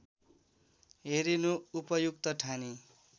हेरिनु उपयुक्त ठानी